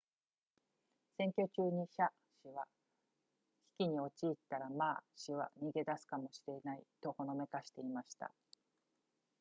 選挙中に謝氏は危機に陥ったら馬氏は逃げ出すかもしれないとほのめかしていました